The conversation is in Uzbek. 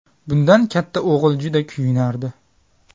Bundan katta o‘g‘il juda kuyunardi.